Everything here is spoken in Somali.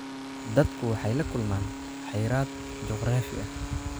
Dadku waxay la kulmaan xayiraad juqraafi ah.